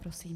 Prosím.